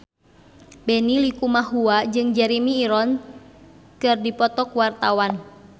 Benny Likumahua jeung Jeremy Irons keur dipoto ku wartawan